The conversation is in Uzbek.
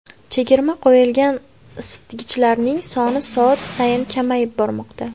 Chegirma qo‘yilgan isitgichlarning soni soat sayin kamayib bormoqda!